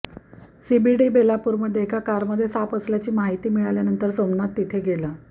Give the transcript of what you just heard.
CBD बेलापूरमध्ये एका कारमध्ये साप असल्याची माहिती मिळाल्यानंतर सोमनाथ तिथे गेला